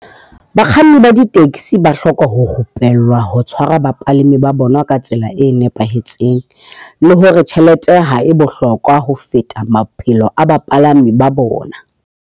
Bakganni ba di-taxi ba hloka ho ho rupellwa ho tshwara bapalami ba bona ka tsela e nepahetseng, le hore tjhelete ha e bohlokwa ho feta maphelo a bapalami ba bona.